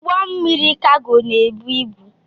Ụgbọ mmiri Kago na-ebu ibu.